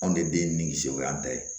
Anw de den nimisi o y'an ta ye